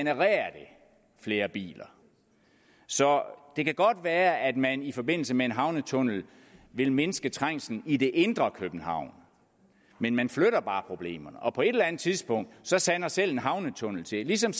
flere biler så det kan godt være at man i forbindelse med en havnetunnel vil mindske trængslen i det indre københavn men man flytter bare problemerne og på et eller andet tidspunkt sander selv en havnetunnel til ligesom